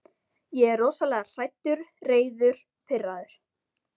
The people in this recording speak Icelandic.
Ég er rosalega hræddur, reiður, pirraður.